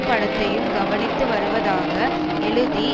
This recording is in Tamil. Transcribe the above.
படத்தையும் கவனித்து வருவதாக எழுதி